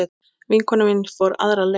Vinkona mín fór aðra leið.